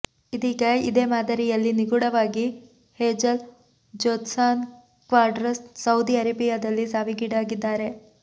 ಇದೀಗ ಇದೇ ಮಾದರಿಯಲ್ಲಿ ನಿಗೂಢವಾಗಿ ಹೆಝಲ್ ಜ್ಯೋತ್ಸ್ನಾ ಕ್ವಾಡ್ರಸ್ ಸೌದಿ ಅರೇಬಿಯಾದಲ್ಲಿ ಸಾವೀಗೀಡಾಗಿದ್ದಾರೆ